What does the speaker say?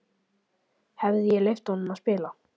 Hefði ég leyft honum að spila?